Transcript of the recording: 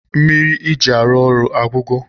Mmiri eji arụ ụlọ agwụgo?